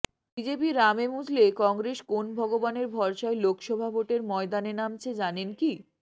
BJP রামে মজলে কংগ্রেস কোন ভগবানের ভরসায় লোকসভা ভোটের ময়দানে নামছে জানেন কি